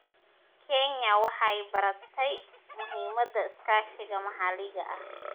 Kenya waxay baratay muhiimadda iskaashiga maxalliga ah.